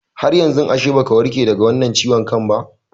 Haryanzu ashe baka warke daga wannan ciwon kan ba